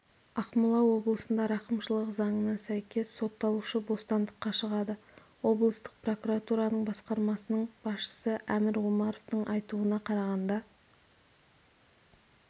ақмола облысында рақымшылық заңына сәйкес сотталушы бостандыққа шығады облыстық прокуратураның басқармасының басшысы әмір омаровтың айтуына қарағанда